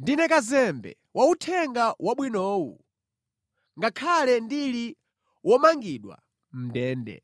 Ndine kazembe wa Uthenga Wabwinowu ngakhale ndili womangidwa mʼndende.